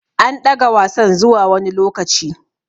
An ɗaga Wasan zuwa wani lokaci.